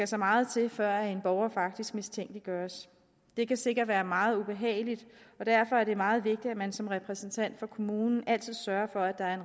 så meget til før en borger faktisk mistænkeliggøres det kan sikkert være meget ubehageligt og derfor er det meget vigtigt at man som repræsentant for kommunen altid sørger for at der er